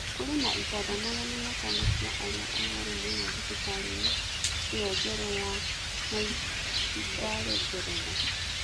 Kũrĩ na itanda magana matano cia arĩa arũaru mũno thibitarĩ-inĩ ĩyo njerũ ya Nightingale Ngeretha.